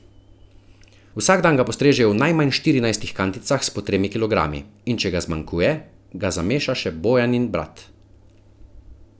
Vsak dan ga postrežejo v najmanj štirinajstih kanticah s po tremi kilogrami, in če ga zmanjkuje, ga zameša še Bojanin brat.